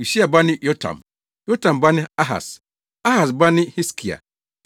Usia ba ne Yotam, Yotam ba ne Ahas: Ahas ba ne Hiskia.